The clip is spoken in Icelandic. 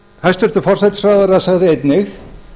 hæstvirtur forsætisráðherra sagði einnig